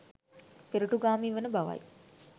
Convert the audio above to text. පෙරටුගාමීවන බවයි.